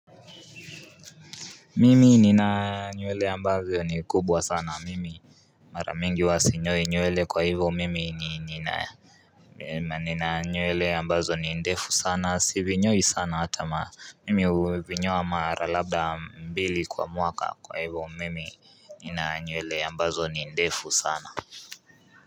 Mimi nina nyewele ambazo ni kubwa sana mimi, Mara mingi huwa sinyoi nyewele kwa hivyo mimi nina nina nyewele ambazo ni ndefu sana sivinyoi sana hata, mimi huvinyoa mara labda mbili kwa mwaka kwa hivyo mimi nina nyewele ambazo ni ndefu sana.